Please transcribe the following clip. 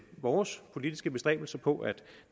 vores politiske bestræbelser på at